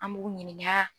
An b'u ɲininka